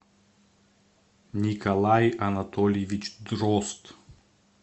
николай анатольевич дрозд